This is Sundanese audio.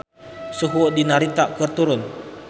Suhu di Narita keur turun